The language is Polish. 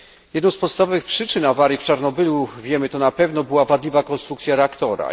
Jedną z podstawowych przyczyn awarii w Czarnobylu, wiemy to na pewno, była wadliwa konstrukcja reaktora.